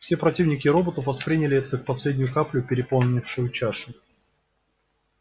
все противники роботов восприняли это как последнюю каплю переполнившую чашу